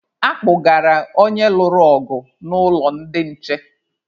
A kpụgara onye lụrụ ọgụ n'ụlọ ndị nche.